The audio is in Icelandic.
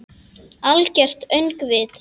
Algert öngvit!